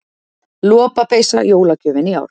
Lopapeysa jólagjöfin í ár